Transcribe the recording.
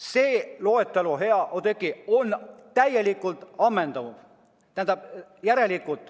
See loetelu, hea Oudekki, on täielikult ammendav.